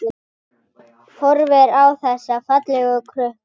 Horfir á þessa fallegu krukku.